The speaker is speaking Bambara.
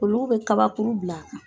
Olu bɛ kabakuru bila a kan.